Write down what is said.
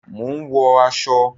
Mò ń wọ aṣọ